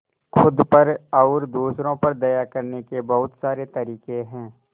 खुद पर और दूसरों पर दया करने के बहुत सारे तरीके हैं